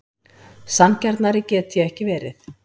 Sanngjarnari get ég ekki verið.